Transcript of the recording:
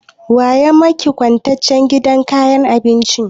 Wa ya maki kwatancen sabon gidan abincin?